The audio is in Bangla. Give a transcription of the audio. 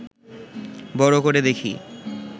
বড় করে দেখি